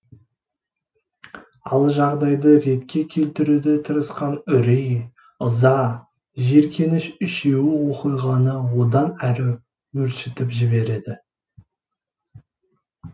ал жағдайды ретке келтіруге тырысқан үрей ыза жиіркеніш үшеуі оқиғаны одан әрі өршітіп жібереді